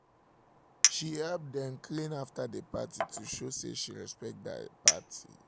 she help dem clean after the party to show say she respect the the party